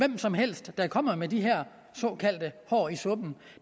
som helst der kommer med de her såkaldte hår i suppen